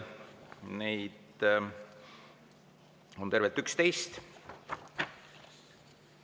Neid on tervelt 11.